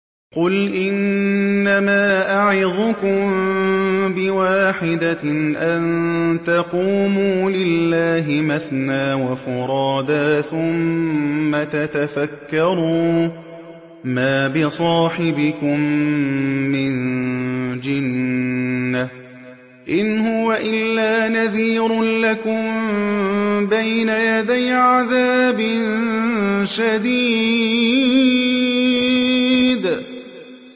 ۞ قُلْ إِنَّمَا أَعِظُكُم بِوَاحِدَةٍ ۖ أَن تَقُومُوا لِلَّهِ مَثْنَىٰ وَفُرَادَىٰ ثُمَّ تَتَفَكَّرُوا ۚ مَا بِصَاحِبِكُم مِّن جِنَّةٍ ۚ إِنْ هُوَ إِلَّا نَذِيرٌ لَّكُم بَيْنَ يَدَيْ عَذَابٍ شَدِيدٍ